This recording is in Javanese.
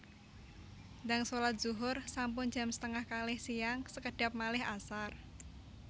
Ndang solat zuhur sampun jam setengah kalih siang sekedhap malih asar